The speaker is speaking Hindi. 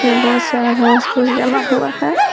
बहुत सारा घास फूस जमा हुआ है ।